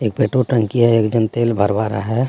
एक पेट्रोल टंकी हे एक जन तेल भरवा रहा हे.